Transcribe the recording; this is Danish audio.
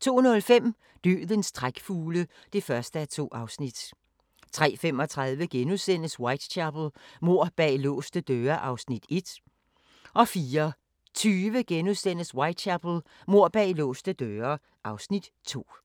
02:05: Dødens trækfugle (1:2) 03:35: Whitechapel: Mord bag låste døre (Afs. 1)* 04:20: Whitechapel: Mord bag låste døre (Afs. 2)*